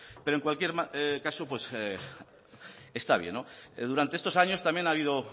pero en cualquier caso está bien durante estos años también ha habido